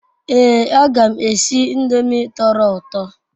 Ee aga m esi ndomi toro uto